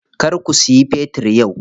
Kar ku siya fetir yau.